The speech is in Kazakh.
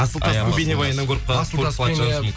асылтасты бейнебаяннан көріп